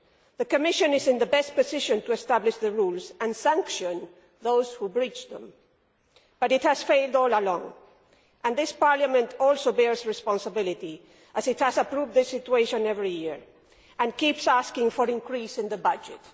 The Commission is in the best position to establish the rules and to sanction those who breach them, but it has failed all along and this Parliament also bears responsibility, as it has approved the situation every year and keeps asking for an increase in the budget.